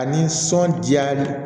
A nisɔn diyar'i